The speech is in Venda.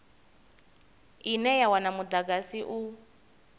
ine ya wana mudagasi u